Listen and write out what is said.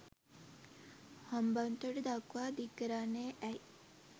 හම්බන්තොට දක්වා දික්කරන්නේ ඇයි.